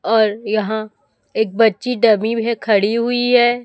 और यहाँ एक बच्ची डमी में खड़ी हुई है।